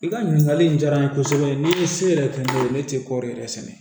I ka ɲininkali in diyara n ye kosɛbɛ ni se yɛrɛ tun ye ne tɛ kɔɔri yɛrɛ sɛnɛ